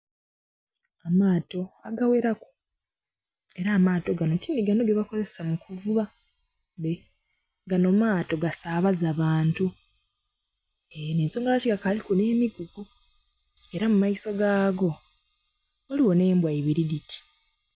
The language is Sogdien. Amaato agagheraku era amaato gano tinhigano gebakozesa mukuvuba gano maato gasabaza bantu nhensonga lwaki bakaliku n'emigugu era mumaiso gaago ghaligho n'embwa ibiri dhiri.